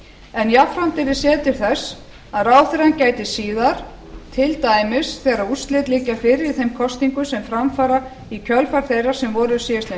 en jafnframt yrði séð til þess að ráðherrann gæti síðar til dæmis þegar úrslit liggja fyrir í þeim kosningum sem fram fara í kjölfar þeirra sem voru síðastliðinn